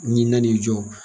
Ni na nin jɔ.